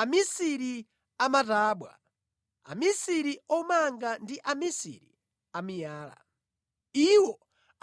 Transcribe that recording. amisiri a matabwa, amisiri omanga ndi amisiri a miyala. Iwo